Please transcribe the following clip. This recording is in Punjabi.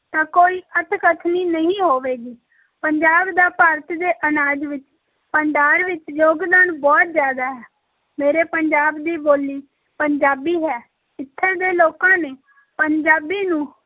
ਤਾਂ ਕੋਈ ਅਤਿਕਥਨੀ ਨਹੀਂ ਹੋਵੇਗੀ ਪੰਜਾਬ ਦਾ ਭਾਰਤ ਦੇ ਅਨਾਜ ਵਿੱਚ ਭੰਡਾਰ ਵਿੱਚ ਯੋਗਦਾਨ ਬਹੁਤ ਜ਼ਿਆਦਾ ਹੈ, ਮੇਰੇ ਪੰਜਾਬ ਦੀ ਬੋਲੀ ਪੰਜਾਬੀ ਹੈ, ਇੱਥੇ ਦੇ ਲੋਕਾਂ ਨੇ ਪੰਜਾਬੀ ਨੂੰ